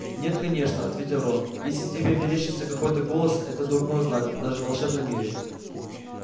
нет конечно ответил рон если тебе мерещится какой-то голос это дурной знак даже в волшебном мире